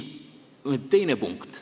Teine punkt.